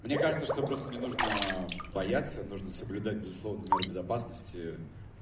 мне кажется что просто не нужно бояться нужно соблюдать безусловно меры безопасности